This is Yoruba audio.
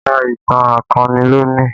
Ka ìtàn akọni lónìí!